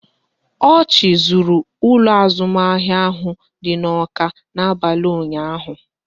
Ochị zuru ụlọ azụmahịa ahụ dị n'Awka n'abalị ụnyaahụ